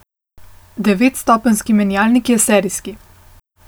Devetstopenjski menjalnik je serijski.